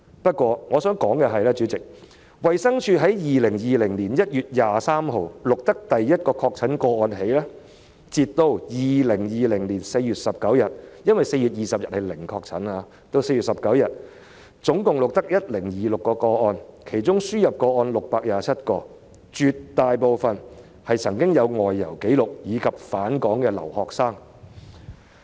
不過，主席，我想指出的是，自從衞生署在2020年1月23日錄得首宗確診個案以來，截至2020年4月19日——因為4月20日是"零確診"——本港共錄得 1,026 宗確診個案，其中輸入個案有627宗，絕大部分病人有外遊紀錄，以及是返港的留學生。